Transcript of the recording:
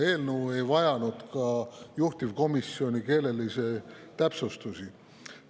Eelnõu ei vajanud ka juhtivkomisjoni keelelisi täpsustusi.